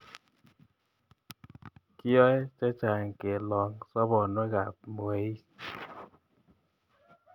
Kiyoe che chang' kelong' soponwek ap mweik.